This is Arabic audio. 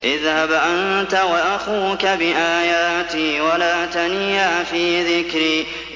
اذْهَبْ أَنتَ وَأَخُوكَ بِآيَاتِي وَلَا تَنِيَا فِي ذِكْرِي